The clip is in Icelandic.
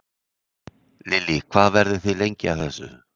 Lillý: Hvað verðið þið lengi að þessu?